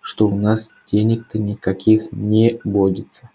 что у нас денег-то никаких не водится